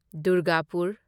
Durgapur